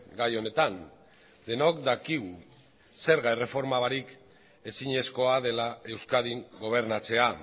gai honetan denok dakigu zerga erreforma barik ezinezkoa dela euskadin gobernatzea